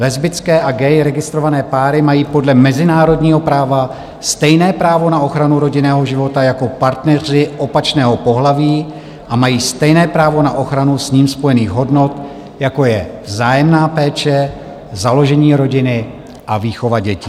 Lesbické a gay registrované páry mají podle mezinárodního práva stejné právo na ochranu rodinného života jako partneři opačného pohlaví a mají stejné právo na ochranu s ním spojených hodnot, jako je vzájemná péče, založení rodiny a výchova dětí.